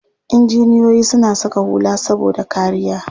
Injiniyoyi suna saka hula saboda kariya.